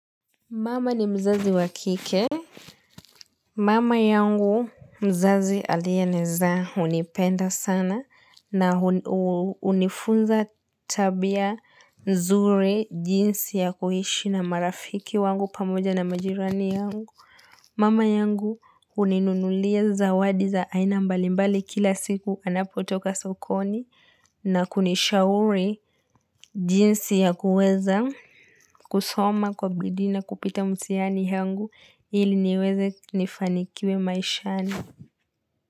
Mama ni mzazi wa kike. Mama yangu mzazi aliyenizaa unipenda sana. Na unifunza tabia nzuri jinsi ya kuhishi na marafiki wangu pamoja na majirani yangu. Mama yangu uninunulia zawadi za aina mbali mbali kila siku anapotoka sokoni. Na kunishauri jinsi ya kuweza, kusoma kwa bidii na kupita mtihani yangu. Ili niweze nifanikiwe maishani.